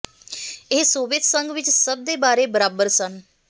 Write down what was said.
ਇਸ ਸੋਵੀਅਤ ਸੰਘ ਵਿੱਚ ਸਭ ਦੇ ਬਾਰੇ ਬਰਾਬਰ ਸਨ